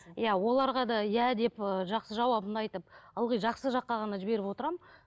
иә оларға да иә деп ы жақсы жауабын айтып ылғи жақсы жаққа ғана жіберіп отырамын